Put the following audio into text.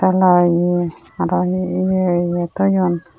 law ye araw hi hi ye ye toyon.